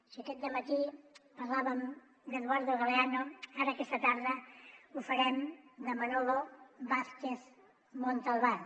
si aquest dematí parlàvem d’eduardo galeano ara aquesta tarda ho farem de manolo vázquez montalbán